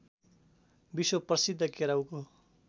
विश्व प्रसिद्ध केराउको